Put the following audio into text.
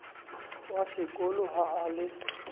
wa sekolo ha a le